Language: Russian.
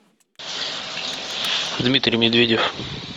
дмитрий медведев